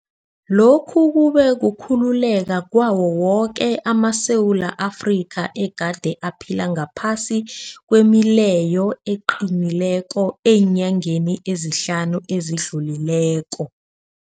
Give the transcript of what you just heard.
Lokhu kube kukhululeka kwawo woke amaSewula Afrika egade aphila ngaphasi kwemileyo eqinileko eenyangeni ezihlanu ezidlulileko.